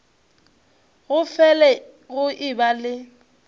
go fele go eba le